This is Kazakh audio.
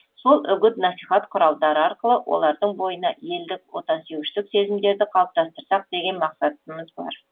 сол үгіт насихат құралдары арқылы олардың бойына елдік отансүйгіштік сезімдерді қалыптастырсақ деген мақсатымыз бар